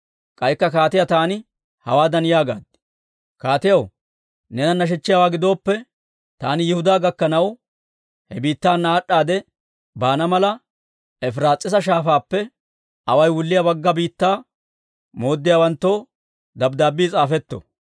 K'aykka kaatiyaa taani hawaadan yaagaad; «Kaatiyaw, neena nashechchiyaawaa gidooppe, taani Yihudaa gakkanaw, he biittaana aad'aadde baana mala, Efiraas'iisa Shaafaappe away wulliyaa Bagga Biittaa mooddiyaawanttoo dabddaabbii s'aafetto.